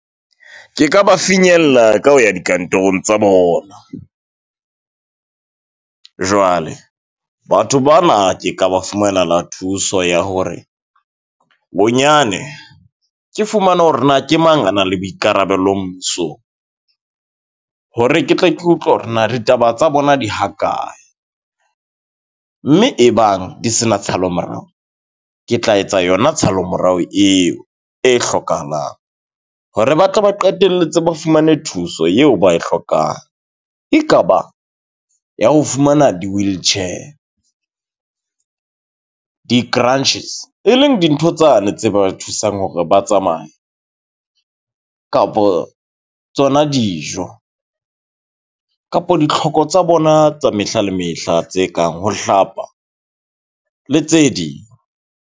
Ke ka ba finyella ka ho ya dikantorong tsa bona. Jwale batho bana ke ka ba fumanela thuso ya hore bonyane ke fumana hore na ke mang, a na le boikarabelo mmusong. Hore ke tle ke utlwe hore na ditaba tsa bona di hakae mme e bang di se na tshalo morao. Ke tla etsa yona tshalo morao eo e hlokahalang hore ba tle ba qetelletse ba fumane thuso yeo ba e hlokang. Ekaba ya ho fumana di-wheelchair, di-cruntches, e leng dintho tsane tse ba thusang hore ba tsamaye ka kapo tsona dijo kapo ditlhoko tsa bona tsa mehla le mehla tse kang ho hlapa le tse ding.